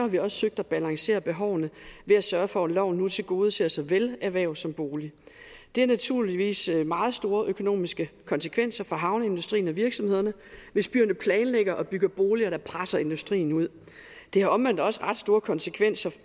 vi også søgt at balancere behovene ved at sørge for at loven nu tilgodeser såvel erhverv som bolig det har naturligvis meget store økonomiske konsekvenser for havneindustrien og virksomhederne hvis byerne planlægger og bygger boliger der presser industrien ud det har omvendt også ret store konsekvenser